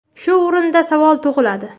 Shu o‘rinda savol tug‘iladi.